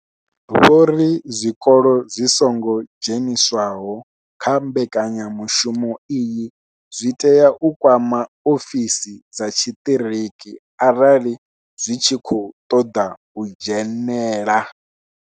Vho ri zwikolo zwi songo dzheniswaho kha mbekanyamushumo iyi zwi tea u kwama ofisi dza tshiṱiriki arali zwi tshi khou ṱoḓa u dzhenela.